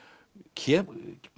kemur